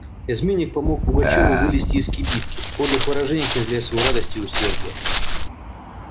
изменник помог пугачёву вылезти из кибитки в подлых выражениях изъявляя свою радость и усердие